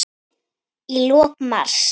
Í lok mars